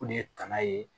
O de ye tanan ye